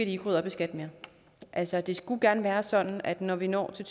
ikke rydde op i skat mere altså det skulle gerne være sådan at når vi når til